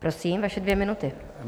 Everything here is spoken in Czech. Prosím, vaše dvě minuty.